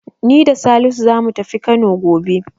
Ni da Salisu zamu tafi Kano gobe.